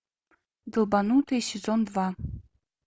долбанутые сезон два